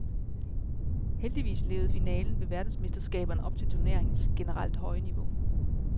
Heldigvis levede finalen ved verdensmesterskaberne op til turneringens generelt høje niveau.